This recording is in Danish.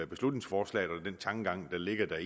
beslutningsforslaget og den tankegang der ligger